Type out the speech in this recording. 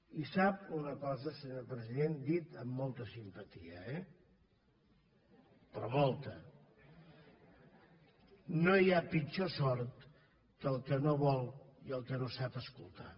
i sap una cosa senyor president dit amb molta simpatia eh però molta no hi ha pitjor sord que el que no vol i el que no sap escoltar